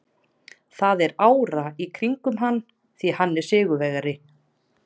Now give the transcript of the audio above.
Það er ára í kringum hann því hann er sigurvegari.